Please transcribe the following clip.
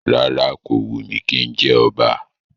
Rárá, kò wù mí kí n jẹ ọba